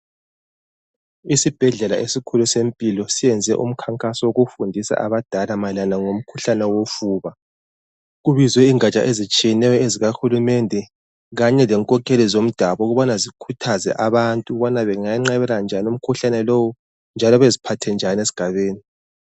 Isibhedlela esikhulu seMpilo siyenze umkhankaso wokufundisa abadala mayelana ngomkhuhlane wofuba, kubizwe ingatsha ezitshiyeneyo ezika hulumende kanye lenkokheli zomdabu, ukubana zikhuthaze abantu ukubana bengayenqabela njani umkhuhlane lowu njalo beziphathe njani esigabeni.